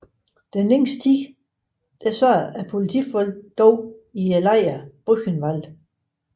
Den længste tid sad politifolkene dog i lejren Buchenwald